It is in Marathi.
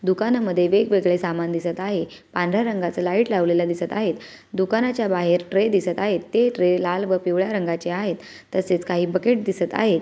दुकाना मध्ये वेग वेगळ्या सामान दिसत आहे पांढऱ्या रंगाच लाईट लावलेला दिसत आहे दुकानाच्या बाहेर ट्रे दिसत आहेत ते ट्रे लाल व पिवळ्या रंगाचे आहेत तसेच काही बकेट दिसत आहेत.